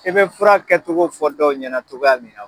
E be fura kɛtogo fɔ dɔw ɲɛnatogoya min na o